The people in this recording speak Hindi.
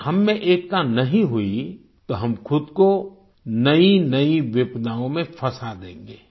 अगर हममें एकता नहीं हुई तो हम खुद को नईनई विपदाओं में फंसा देंगे